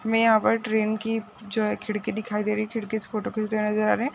हमें यहाँ पर ट्रेन की जो है खिड़की दिखाई दे रही खिड़की से फोटो खिचते हुए नज़र आ रहा है।